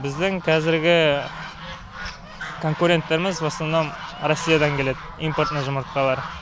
біздің казіргі конкуренттеріміз в основном россиядан келеді импортный жұмыртқалар